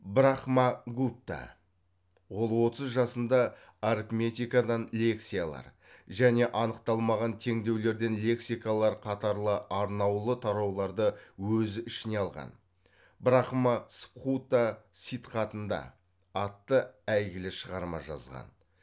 брахмагупта ол отыз жасында арифметикадан лекциялар және анықталмаған теңдеулерден лексикалар қатарлы арнаулы тарауларды өзі ішіне алған брахма сыбхута ситхатында атты әйгілі шығарма жазған